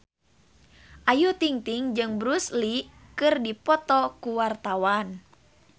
Ayu Ting-ting jeung Bruce Lee keur dipoto ku wartawan